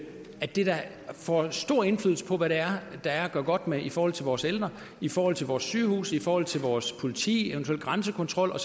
at det da får stor indflydelse på hvad der er at gøre godt med i forhold til vores ældre i forhold til vores sygehuse i forhold til vores politi i eventuel grænsekontrol og